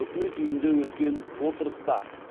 үкімет үйінде өткен отырыста